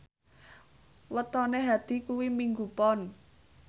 wetone Hadi kuwi Minggu Pon